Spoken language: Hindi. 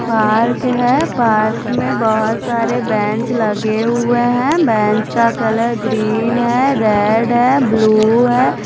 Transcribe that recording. पार्क है पार्क में बहुत सारे बेंच लगे हुए हैं बेंच का कलर ग्रीन है रेड है ब्लू है।